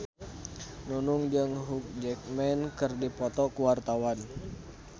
Nunung jeung Hugh Jackman keur dipoto ku wartawan